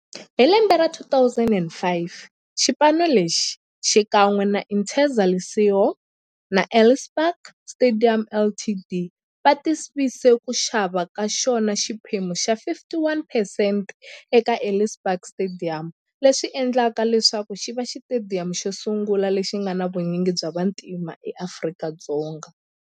Hi lembe ra 2005, xipano lexi, xikan'we na Interza Lesego na Ellis Park Stadium Ltd, va tivise ku xava ka xona xiphemu xa 51percent eka Ellis Park Stadium, leswi endleke leswaku xiva xitediyamu xosungula lexi nga na vunyingi bya vantima e Afrika-Dzonga.